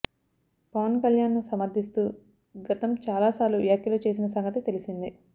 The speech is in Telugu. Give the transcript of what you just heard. పవన్ కళ్యాణ్ ను సమర్థిస్తూ గతం చాలా సార్లు వ్యాఖ్యలు చేసిన సంగతి తెలిసిందే